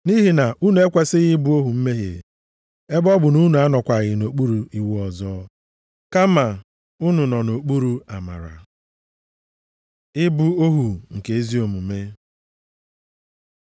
Nʼihi na unu ekwesighị ị bụ ohu mmehie, ebe ọ bụ na unu anọkwaghị nʼokpuru iwu ọzọ, kama unu nọ nʼokpuru amara. Ịbụ ohu nke ezi omume